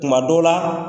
Tuma dɔw la